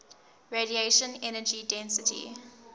radiation energy density